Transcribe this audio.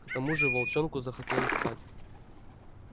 к тому же волчонку захотелось спать